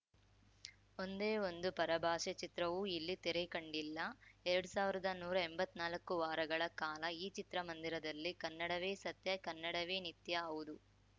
ಒಂದೇ ಒಂದು ಪರಭಾಷೆ ಚಿತ್ರವೂ ಇಲ್ಲಿ ತೆರೆ ಕಂಡಿಲ್ಲ ಎರಡ್ ಸಾವಿರ್ದಾ ನೂರಾ ಎಂಬತ್ನಾಲ್ಕು ವಾರಗಳ ಕಾಲ ಈ ಚಿತ್ರಮಂದಿರದಲ್ಲಿ ಕನ್ನಡವೇ ಸತ್ಯ ಕನ್ನಡವೇ ನಿತ್ಯ ಹೌದು